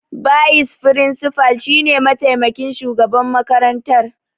Bayis firinsifal shine mataimakin shugaban makarantar.